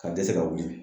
Ka dɛsɛ ka wuli